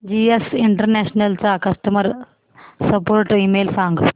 GS international चा customer support email सांग